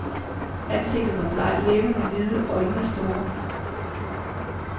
Ansigtet var blegt, læberne hvide, øjnene store.